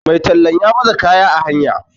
Mai tallan ya baza kaya a hanya